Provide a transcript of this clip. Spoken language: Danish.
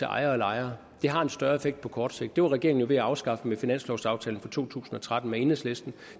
ejere og lejere har en større effekt på kort sigt det var regeringen jo ved at afskaffe med finanslovaftalen for to tusind og tretten med enhedslisten